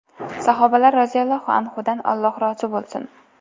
Sahobalar roziyallohu anhumdan Alloh rozi bo‘lsin!